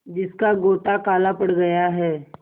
जिसका गोटा काला पड़ गया है